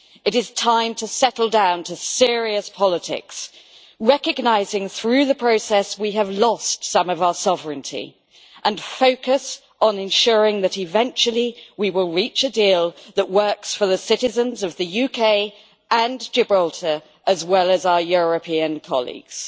It is time to settle down to serious politics, recognising through the process that we have lost some of our sovereignty, and focus on ensuring that eventually we will reach a deal that works for the citizens of the UK and Gibraltar, as well as our European colleagues.